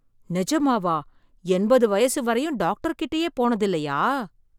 நிஜமாவா, என்பது வயசு வரையும் டாக்டர் கிட்டயே போனதில்லையா?